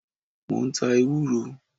Mo ń ta ewúro.